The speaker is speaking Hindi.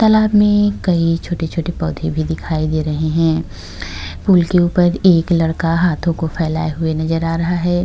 तालाब मे कई छोटे-छोटे पौधे भी दिखाई दे रहे हैं। फूल के ऊपर एक लड़का हाथों को फैलाए हुए नजर आ रहा हैं।